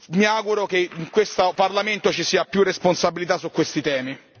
Mi auguro che in questo Parlamento ci sia più responsabilità su questi temi.